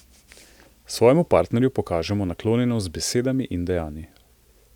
Svojemu partnerju pokažemo naklonjenost z besedami in dejanji.